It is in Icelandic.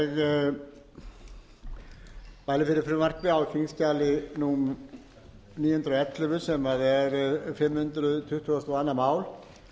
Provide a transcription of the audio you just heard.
ég mæli fyrir frumvarpi á þingskjali númer níu hundruð og ellefu sem er fimm hundruð tuttugustu og önnur mál en